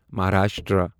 Maharashtra